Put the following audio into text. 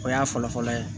O y'a fɔlɔ-fɔlɔ ye